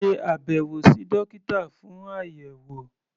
Ṣe àbẹ̀wò sí dókítà fún àyẹ̀wò.